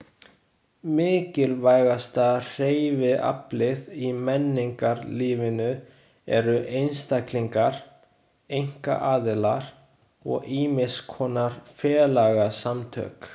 Mikilvægasta hreyfiaflið í menningarlífinu eru einstaklingar, einkaaðilar og ýmiss konar félagasamtök.